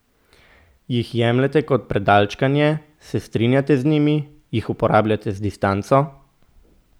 Jih jemljete kot predalčkanje, se strinjate z njimi, jih uporabljate z distanco?